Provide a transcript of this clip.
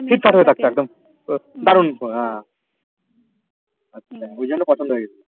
মানে হা বুঝানো পছন্দ হয়েগেছিলো